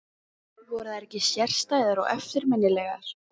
Voru þær ekki sérstæðar og eftirminnilegar?